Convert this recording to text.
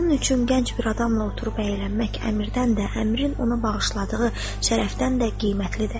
Onun üçün gənc bir adamla oturub əylənmək əmirdən də, əmirin onu bağışladığı şərəfdən də qiymətlidir.